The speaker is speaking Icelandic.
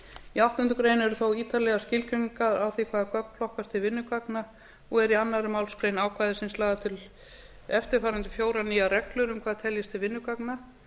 í áttundu greinar eru þó ítarlegar skilgreiningar á því hvaða gögn flokkast til vinnugagna og eru í annarri málsgrein ákvæði þar sem eru lagðar til eftirfarandi fjórar nýjar reglur um hvað teljist til vinnugagna